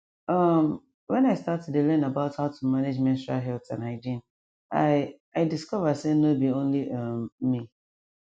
um when i start to dey learn about how to manage menstrual health and hygiene i i discover say nor be only um me